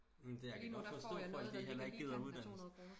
Det jeg kan godt forstå folk de heller ikke gider uddannes